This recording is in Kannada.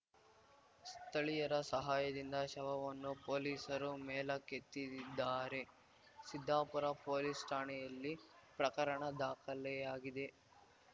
ಸ್ಥಳೀಯರ ಸಹಾಯದಿಂದ ಶವವನ್ನು ಪೋಲಿಸರು ಮೇಲಕ್ಕೆತ್ತಿದ್ದಿದ್ದಾರೆ ಸಿದ್ದಾಪುರ ಪೋಲಿಸ್ ಠಾಣೆಯಲ್ಲಿ ಪ್ರಕರಣದಾಖಲೆ ಆಗಿದೆ